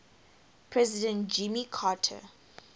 president jimmy carter